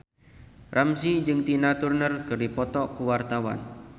Ramzy jeung Tina Turner keur dipoto ku wartawan